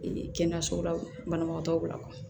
Ee kɛnɛyaso la banabagatɔw la